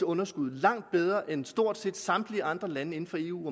underskud er langt bedre rustet end stort set samtlige andre lande inden for eu